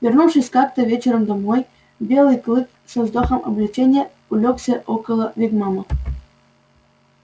вернувшись как-то вечером домой белый клык со вздохом облегчения улёгся около вигвама